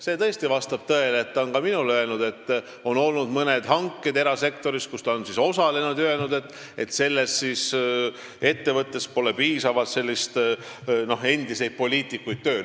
See vastab tõele, ta on ka minule öelnud, et on olnud mõned hanked erasektoris, kus ta on osalenud ja on pidanud ütlema, et ettevõttes pole endisi poliitikuid tööl.